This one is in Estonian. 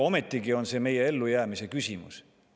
Ometigi on see meie ellujäämise küsimus.